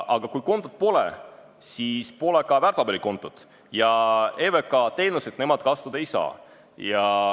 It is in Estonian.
Aga kui kontot pole, siis pole ka väärtpaberikontot ja EVK teenuseid nemad kasutada ei saa.